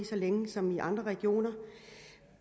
så længe som i andre regioner